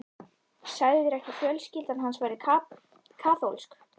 Sagðirðu ekki að fjölskyldan hans væri kaþólsk?